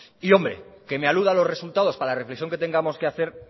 y hombre que me aluda a los resultados para la reflexión que tengamos que hacer